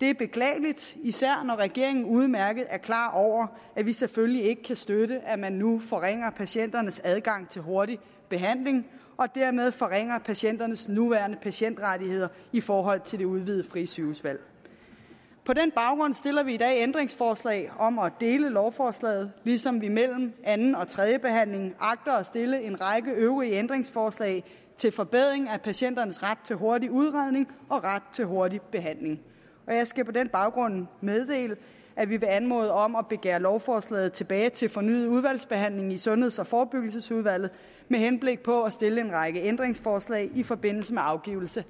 det er beklageligt især når regeringen udmærket er klar over at vi selvfølgelig ikke kan støtte at man nu forringer patienternes adgang til hurtig behandling og dermed forringer patienternes nuværende patientrettigheder i forhold til det udvidede frie sygehusvalg på den baggrund stiller vi i dag ændringsforslag om at dele lovforslaget ligesom vi mellem anden og tredjebehandlingen agter at stille en række øvrige ændringsforslag til forbedring af patienternes ret til hurtig udredning og ret til hurtig behandling jeg skal på den baggrund meddele at vi vil anmode om at begære lovforslaget tilbage til fornyet udvalgsbehandling i sundheds og forebyggelsesudvalget med henblik på at stille en række ændringsforslag i forbindelse med afgivelse